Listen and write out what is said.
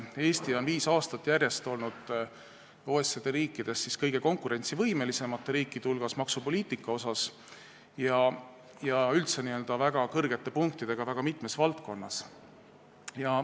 Eesti on viis aastat järjest olnud OECD riikidest kõige konkurentsivõimelisemate riikide hulgas maksupoliitika poolest ja on saanud üldse väga palju punkte väga mitmes valdkonnas.